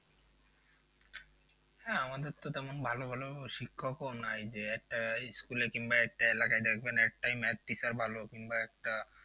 হ্যাঁ আমাদের তো তেমন ভালো ভালো শিক্ষকও নাই যে একটা school এ কিংবা একটা এলাকায় দেখবেন একটা math teacher ভালো কিংবা একটা